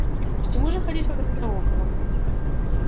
к чему же ходить вокруг да около